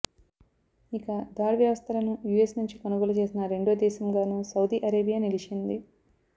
ఇక థాడ్ వ్యవస్థలను యూఎస్ నుంచి కొనుగోలు చేసిన రెండో దేశంగానూ సౌదీ అరేబియా నిలిచింది